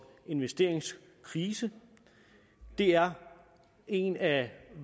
investeringskrise er en af